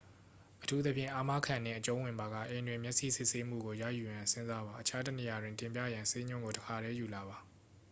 အထူးသဖြင့် အာမခံနှင့်အကျုံးဝင်ပါက အိမ်တွင် မျက်စိစစ်ဆေးမှုကိုရယူရန်စဉ်းစားပါ အခြားတစ်နေရာတွင် တင်ပြရန် ဆေးညွှန်းကို တစ်ပါတည်းယူလာပါ